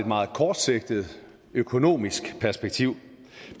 meget kortsigtet økonomisk perspektiv